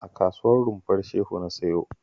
A Kasuwar Rumfar Shehu na siyo